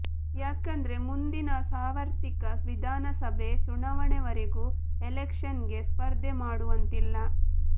ಯಾಕಂದ್ರೆ ಮುಂದಿನ ಸಾರ್ವತ್ರಿಕ ವಿಧಾನಸಭೆ ಚುನಾವಣೆ ವರೆಗೂ ಎಲೆಕ್ಷನ್ ಗೆ ಸ್ಪರ್ಧೆ ಮಾಡುವಂತಿಲ್ಲ